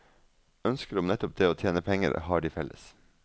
Ønsket om nettopp det å tjene penger har de felles.